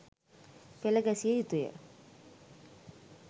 පෙළ ගැසිය යුතුය.